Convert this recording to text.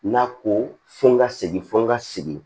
N'a ko fo n ka segin fɔ n ka segin